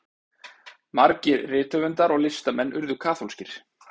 margir rithöfundar og listamenn urðu kaþólskir